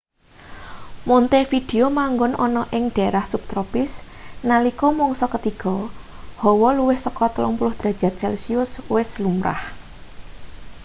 montevideo manggon ana ing daerah subtropis; nalika mangsa ketiga hawa luwih saka +30°c wis lumrah